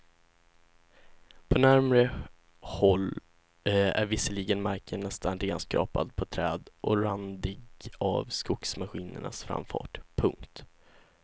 På närmare håll är visserligen marken nästan renskrapad på träd och randig av skogsmaskinernas framfart. punkt